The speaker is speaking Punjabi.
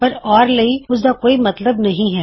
ਪਰ ਓਰ ਲਈ ਇਸਦਾ ਕੋਈ ਮਤਲਬ ਨਹੀ ਹੈ